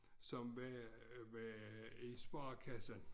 Som var var i sparekassen